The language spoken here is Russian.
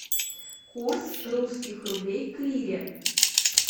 курс русских рублей к лире